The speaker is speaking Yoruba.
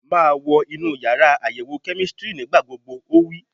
Máa wọ inú yàrá àyẹ̀wò kẹ́mísítírì nígbà gbogbo! Ó wí.